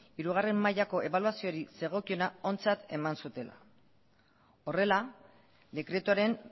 hirugarrena mailako ebaluazioari zegokiona ontzat eman zutela horrela dekretuaren